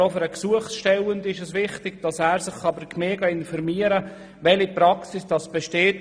Aber auch für den Gesuchsteller ist es wichtig, dass er sich bei der Gemeinde informieren kann, welche Praxis besteht.